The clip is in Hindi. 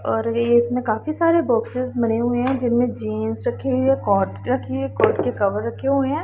और ये इसमें काफी सारे बॉक्सेस भरे हुए हैं जिनमें जींस रखे हुई है कोट रखी हुई है कोट के कवर रखे हुए हैं।